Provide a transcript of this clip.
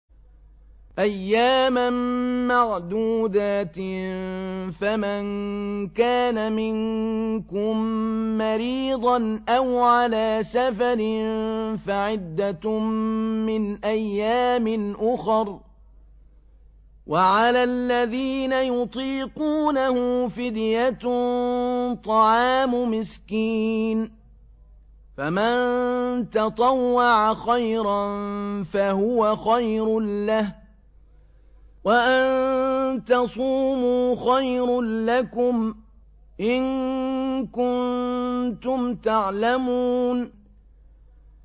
أَيَّامًا مَّعْدُودَاتٍ ۚ فَمَن كَانَ مِنكُم مَّرِيضًا أَوْ عَلَىٰ سَفَرٍ فَعِدَّةٌ مِّنْ أَيَّامٍ أُخَرَ ۚ وَعَلَى الَّذِينَ يُطِيقُونَهُ فِدْيَةٌ طَعَامُ مِسْكِينٍ ۖ فَمَن تَطَوَّعَ خَيْرًا فَهُوَ خَيْرٌ لَّهُ ۚ وَأَن تَصُومُوا خَيْرٌ لَّكُمْ ۖ إِن كُنتُمْ تَعْلَمُونَ